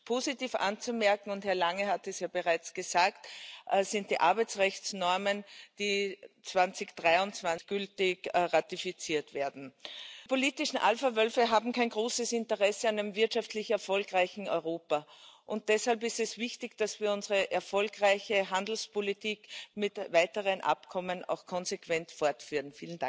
Positiv anzumerken und Herr Lange hat es ja bereits gesagt sind die Arbeitsrechtsnormen, die 2023 endgültig ratifiziert werden. Die politischen Alphawölfe haben kein großes Interesse an einem wirtschaftlich erfolgreichen Europa, und deshalb ist es wichtig, dass wir unsere erfolgreiche Handelspolitik mit weiteren Abkommen auch konsequent fortführen.